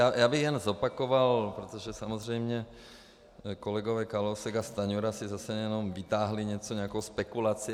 Já bych jen zopakoval, protože samozřejmě kolegové Kalousek a Stanjura si zase jenom vytáhli něco, nějakou spekulaci.